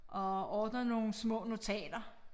Og ordner nogle små notater